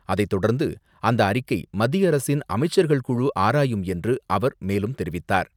அதைத்தொடர்ந்து, அந்த அறிக்கை மத்திய அரசின் அமைச்சர்கள் குழு ஆராயும் என்று அவர் மேலும் தெரிவித்தார்.